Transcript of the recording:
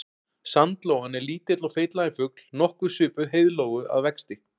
Sandlóan er lítill og feitlaginn fugl nokkuð svipuð heiðlóu að vexti.